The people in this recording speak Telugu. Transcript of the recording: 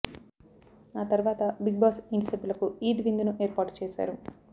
ఆ తర్వాత బిగ్ బాస్ ఇంటి సభ్యులకు ఈద్ విందును ఏర్పాటు చేశారు